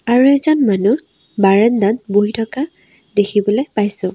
আৰু এজন মানুহ বাৰাণ্ডাত বহি থকা দেখিবলৈ পাইছোঁ।